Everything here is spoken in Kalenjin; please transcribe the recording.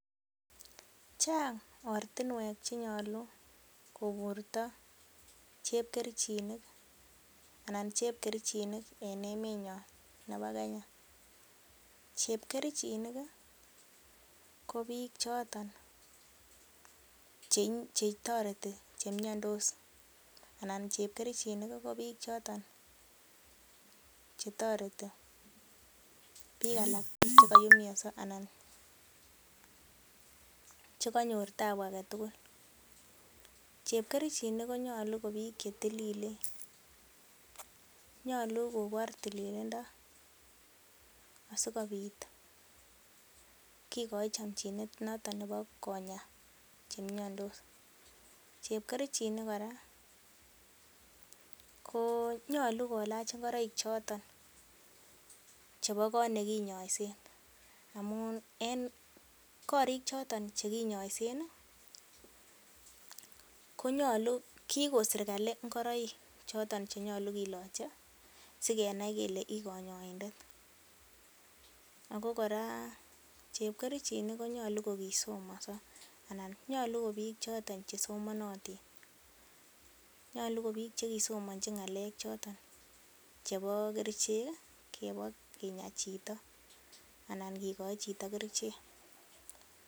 Chang ortinwek che nyolu koburto chepkerichinik en emenyon nebo Kenya. Chepkerichinik ko biik choton che toreti che miondos anan ko biik che koumianso anan che kanyor taabu age tugul. Chepkerichinik konyolu ko biik che tililen. Nyolu kobor tilindo asikobit kigoi chomchinet noton nebo konya choto chemiandos. Chepkerichinik kora konyolu kolach ngoroik choto chebo koot ne kinyoisen. Amun en korik choton che kinyoisen, ko kigon serkalit ngoroik choton che nyolu kiloche sikenai kele ii konyoindet. Ago kora chepkerichinik konyolu kogisomonso anan nyolu ko biik choton che somonotin Nyolu ko biik choton che kisomonchi ng'alek choto chebo kerichek chebo kinya chito anan kigoi chito kerichek.